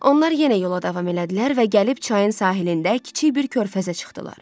Onlar yenə yola davam elədilər və gəlib çayın sahilində kiçik bir körfəzə çıxdılar.